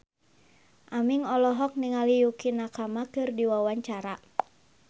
Aming olohok ningali Yukie Nakama keur diwawancara